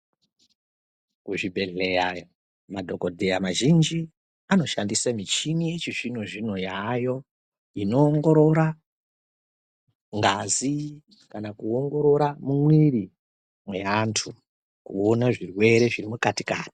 Kuzvobhedhleya madhokodheya mazhinji anoshandise mishini yechizvino zvino yayo. Inongorora ngazi, kana kuwongorora mwiri we antu , kuwona zvirwere zvirimukati kati.